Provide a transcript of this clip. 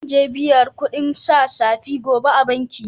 Zan je n'biya kudin sa safe gobe a'banki.